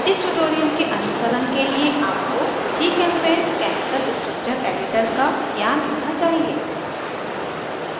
इस ट्यूटोरियल के अनुसरण के लिए आपको gchempaint केमिकल स्ट्रक्चर एडिटर का ज्ञान होना चाहिए